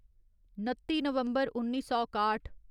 नत्ती नवम्बर उन्नी सौ काठ